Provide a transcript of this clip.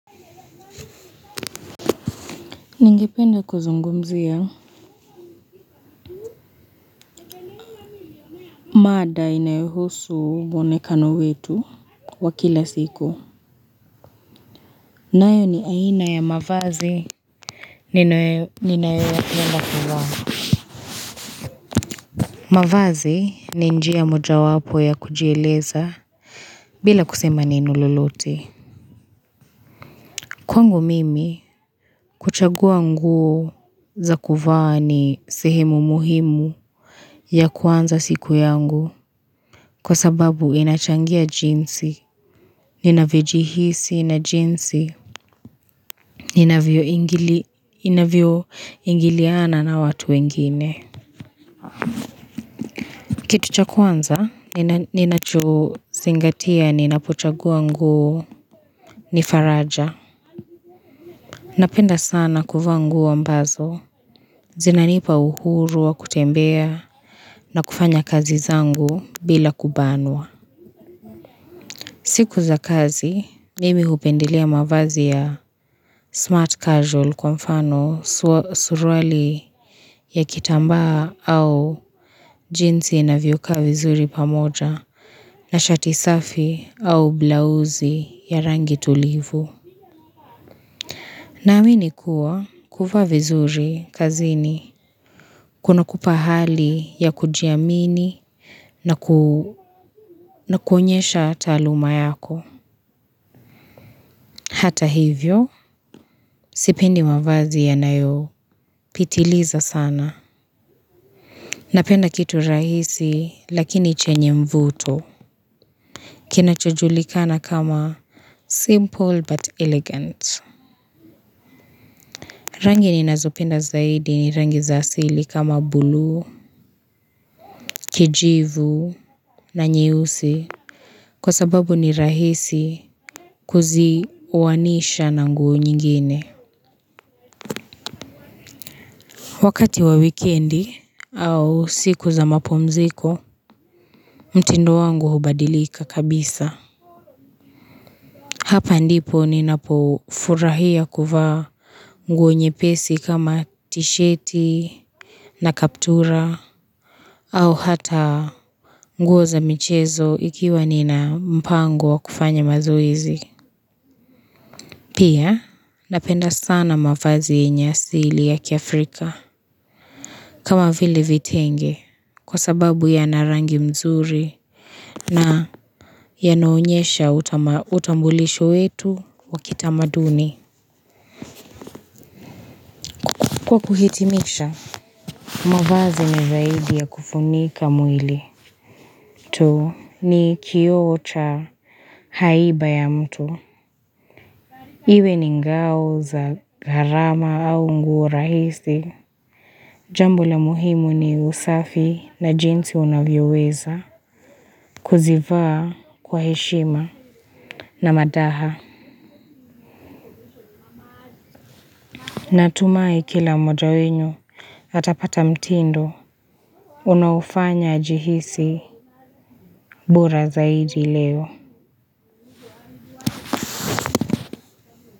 Ningependa kuzungumzia, mada inayohusu mwonekano wetu wa kila siku. Nayo ni aina ya mavazi ninayo yapenda kuvaa. Mavazi ni njia moja wapo ya kujieleza bila kusema neno lolote. Kwangu mimi, kuchagua nguo za kuvaa ni sehemu muhimu ya kuanza siku yangu. Kwa sababu inachangia jinsi, ninavyo jihisi, na jinsi ninavyo ingiliana na watu wengine. Kitu cha kwanza, ninacho zingatia, ninapochagua nguo, ni faraja. Napenda sana kuvaa nguo ambazo, zinanipa uhuru wa kutembea, na kufanya kazi zangu bila kubanwa. Siku za kazi, mimi hupendelea mavazi ya smart casual kwa mfano surwali ya kitambaa au jinsi inavyokaa vizuri pamoja na shati safi au blausi ya rangi tulivu. Naamini kuwa kuvaa vizuri kazini, kuna kupa hali ya kujiamini na kuonyesha taluma yako. Hata hivyo, sipendi mavazi yanayo pitiliza sana. Napenda kitu rahisi lakini chenye mvuto. Kinacho julikana kama simple but elegant. Rangi ninazopenda zaidi ni rangi za asili kama bluu, kijivu na nyeusi. Kwa sababu ni rahisi kuzionisha na nguo nyingine. Wakati wa wikendi au siku za mapumziko, mtindo wangu hubadilika kabisa. Hapa ndipo ninapo furahia kuvaa nguo nyepesi kama tisheti na kaptura au hata nguo za michezo ikiwa nina mpango wa kufanya mazoezi. Pia napenda sana mavazi yenye asili ya Kiafrika. Kama vile vitenge kwa sababu yana rangi nzuri. Na yanaonyesha utambulisho wetu wa kitamaduni kwa kuhitimisha mavazi ni zaidi ya kufunika mwili tu ni kioo cha haiba ya mtu. Iwe ni ngao za gharama au nguo rahisi, jambo la muhimu ni usafi na jinsi unavyoweza kuzivaa kwa heshima na madaha. Natumai kila mmoja wenu atapata mtindo unaofanya ajihisi bora zaidi leo.